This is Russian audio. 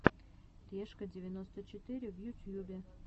решка девяносто четыре в ютьюбе